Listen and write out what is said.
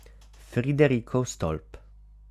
Friderikov stolp.